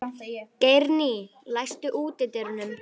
Geirný, læstu útidyrunum.